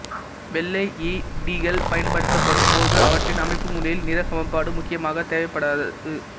வெள்ளை L E டிகள் பயன்படுத்தப்படும் போது அவற்றின் அமைப்புமுறையில் நிற சமப்பாடு முக்கியமாக தேவைப்படாது